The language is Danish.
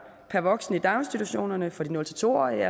per voksen i daginstitutionerne for de nul to årige